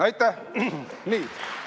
Aitäh!